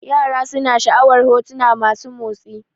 Yara suna sha'awar hotuna masu motsi